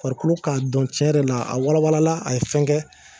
Farikolo k'a dɔn tiɲɛ yɛrɛ la a walawala a ye fɛn kɛ